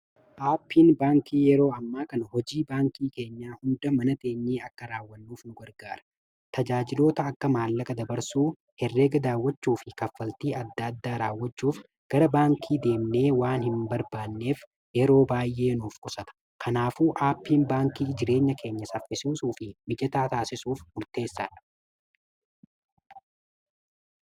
aappiin baankii yeroo ammaa kana hojii baankii keenyaa hunda manateenyii akka raawwannuuf nu gargaara tajaajiloota akka maallaqa dabarsuu herree gadaawwachuu fi kaffaltii adda addaa raawwachuuf gara baankii deemnee waan hin barbaanneef yeroo baay’ee nuuf qusata kanaafuu aappiin baankii jireenya keenya saffisisuu fi mijataa taasisuuf murteessaadha